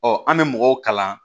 Ɔ an bɛ mɔgɔw kalan